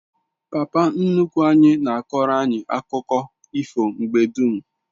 Papa nnukwu anyi na akoro anyi akuko ifo mgbe dum